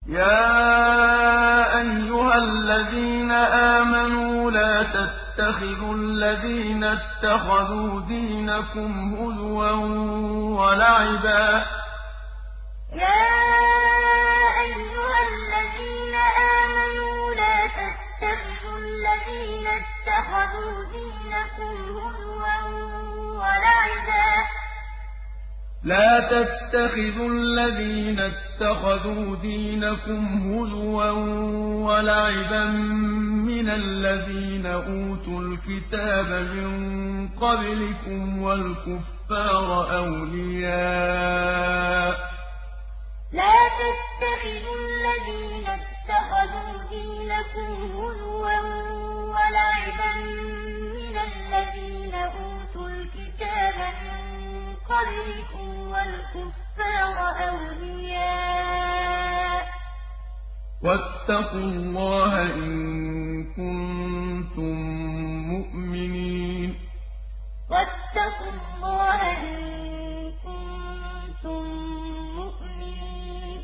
يَا أَيُّهَا الَّذِينَ آمَنُوا لَا تَتَّخِذُوا الَّذِينَ اتَّخَذُوا دِينَكُمْ هُزُوًا وَلَعِبًا مِّنَ الَّذِينَ أُوتُوا الْكِتَابَ مِن قَبْلِكُمْ وَالْكُفَّارَ أَوْلِيَاءَ ۚ وَاتَّقُوا اللَّهَ إِن كُنتُم مُّؤْمِنِينَ يَا أَيُّهَا الَّذِينَ آمَنُوا لَا تَتَّخِذُوا الَّذِينَ اتَّخَذُوا دِينَكُمْ هُزُوًا وَلَعِبًا مِّنَ الَّذِينَ أُوتُوا الْكِتَابَ مِن قَبْلِكُمْ وَالْكُفَّارَ أَوْلِيَاءَ ۚ وَاتَّقُوا اللَّهَ إِن كُنتُم مُّؤْمِنِينَ